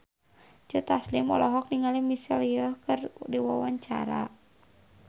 Joe Taslim olohok ningali Michelle Yeoh keur diwawancara